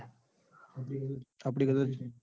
આપડી કરતા